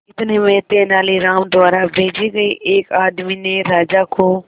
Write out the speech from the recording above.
इतने में तेनालीराम द्वारा भेजे गए एक आदमी ने राजा को